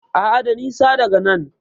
A'a, da nisa daga nan.